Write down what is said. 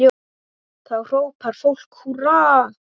Þá hrópar fólk húrra.